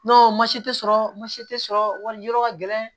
tɛ sɔrɔ mansi tɛ sɔrɔ wari yɔrɔ ka gɛlɛn